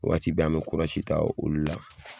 Waati bɛ an me kurazi ta olu la